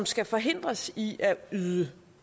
skal forhindres i at yde